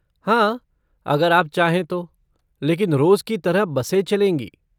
हाँ, अगर आप चाहे तो, लेकिन रोज़ की तरह बसें चलेंगी।